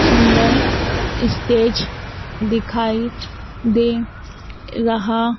सुंदर स्टेज दिखाई दे रहा--